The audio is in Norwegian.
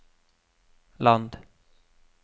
land